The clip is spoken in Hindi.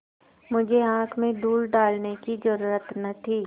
मुझे आँख में धूल डालने की जरुरत न थी